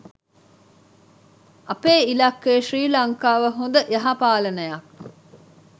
අපේ ඉලක්කය ශ්‍රී ලංකාව හොඳ යහපාලනයක්